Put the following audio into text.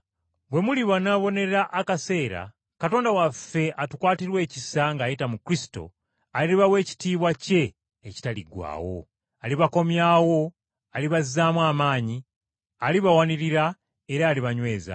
Bwe mulibonaabonera akaseera, Katonda waffe atukwatirwa ekisa ng’ayita mu Kristo, alibawa ekitiibwa kye ekitaliggwaawo. Alibakomyawo, alibazzaamu amaanyi, alibawanirira era alibanyweza.